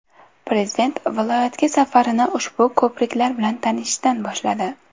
Prezident viloyatga safarini ushbu ko‘priklar bilan tanishishdan boshladi.